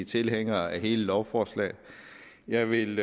tilhængere af hele lovforslaget jeg vil